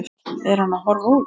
Er hann að horfa út?